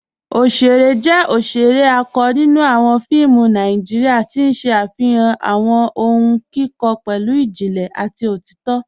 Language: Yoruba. Ọ̀ṣẹ̀rẹ̀ jẹ́ ọ̀ṣẹ̀rẹ̀ àkọ́ nínú awọn fíìmù Nàìjíríà, tí n ṣẹ afihan awọn ọ̀hùn kíkọ pẹ̀lú ìjìnlẹ̀ àti òtìtọ̀.